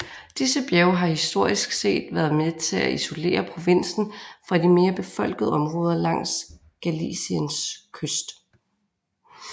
Disse bjerge har historisk set været med til at isolere provinsen fra de mere befolkede områder langs Galiciens kyst